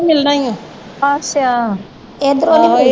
ਇਧਰੋਂ ਨਹੀਂ ਮਿਲਦੇ